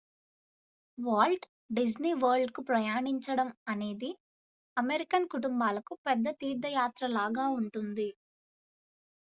Walt Disney వరల్డ్కు ప్రయాణించడం అనేక అమెరికన్ కుటుంబాలకు పెద్ద తీర్థయాత్ర లాగా ఉంటుంది